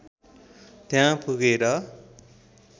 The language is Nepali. त्यहाँ पुगेर